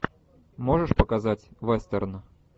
можешь показать вестерн